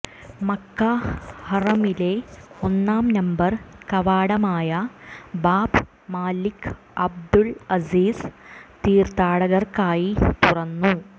മക്കാ ഹറമിലെ ഒന്നാം നമ്പർ കവാടമായ ബാബ് മലിക് അബ്ദുൽ അസീസ് തീർത്ഥാടകർക്കായി തുറന്നു